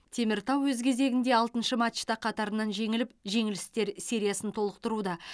теміртау өз кезегінде алтыншы матчта қатарынан жеңіліп жеңілістер сериясын толықтыруда